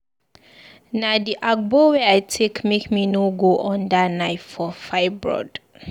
Na di agbo wey I take make me no go under knife for fibroid.